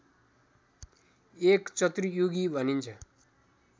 एक चतुर्युगी भनिन्छ